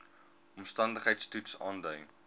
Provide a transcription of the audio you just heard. omstandigheids toets aandui